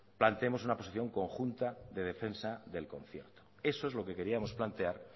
planteemos una posición conjunta de defensa del concierto eso es lo que queríamos plantear